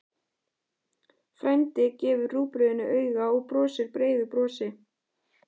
Frændi gefur rúgbrauðinu auga og brosir breiðu brosi.